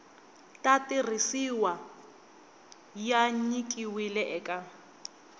ta tirhisiwa ya nyikiwile eka